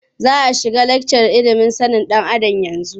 Za a shiga lakcar ilimin sanin ɗan Adam yanzu.